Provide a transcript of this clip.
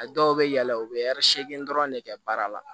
A dɔw bɛ yɛlɛn u bɛ ɛri segin dɔrɔn de kɛ baara la